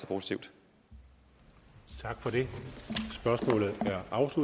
projekt og det er også